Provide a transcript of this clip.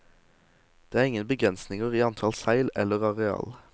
Det er ingen begrensinger i antall seil eller areal.